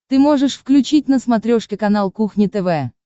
ты можешь включить на смотрешке канал кухня тв